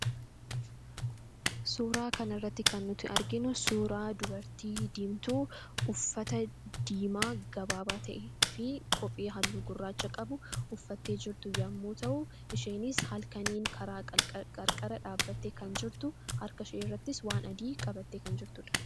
Suuraa kanarratti kan nuti arginu suuraa dubartii diimtuu uffata diimaa gabaabaa ta'ee fi kophee halluu gurraacha qabu uffattee jirtu yommuu ta'u, isheenis halkaniin karaa qarqara dhaabbattee kan jirtu , harkashee irrattis waan adii qabattee kan jirtudha.